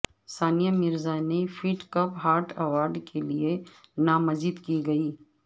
ثانیہ مرزا نے Fed Cup Heart award کے لئے نامزد کی گئی